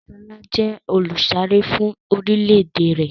Sọlá jẹ olùsáré fún orílédé rẹ̀.